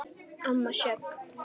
Amma Sjöfn.